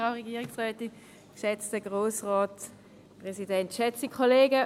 Für die SP-JUSO-PSA: Cornelia Hässig.